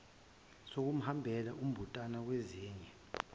sokuhambela umbuthano wezinye